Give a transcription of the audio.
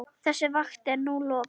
Þessari vakt er nú lokið.